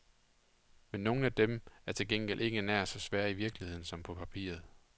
Men nogle af dem er til gengæld ikke nær så svære i virkeligheden, som på papiret.